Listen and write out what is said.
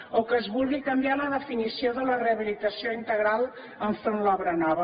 o que es vulgui canviar la definició de la rehabilitació integral enfront de l’obra nova